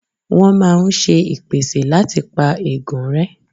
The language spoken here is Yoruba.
Wọ́́n máa ń ṣe ìpèsè láti pa ègún rẹ́.